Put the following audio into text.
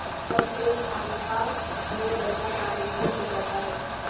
اب ایک خانقاہ میں رہنا ناممکن ہو جاتا ہے